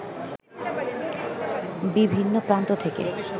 বিভিন্ন প্রান্ত থেকে